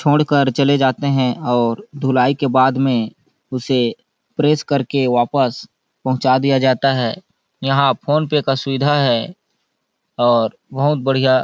छोड़ कर चले जाते है और धुलाई के बाद में उसे प्रेस कर के वापस पहुचा दिया जाता है यहाँ फोन पे का सुवीधा है और बहुत बढ़िया --